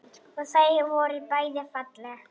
Og þau voru bæði falleg.